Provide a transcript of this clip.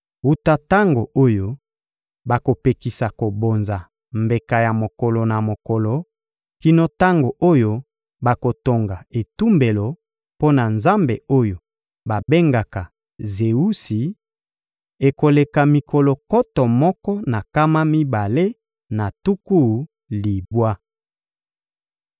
Wuta tango oyo bakopekisa kobonza mbeka ya mokolo na mokolo kino tango oyo bakotonga etumbelo mpo na nzambe oyo babengaka Zewusi, ekoleka mikolo nkoto moko na nkama mibale na tuku libwa.